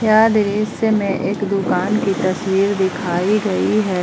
यह दृश्य में एक दुकान की तस्वीर दिखाई गई है।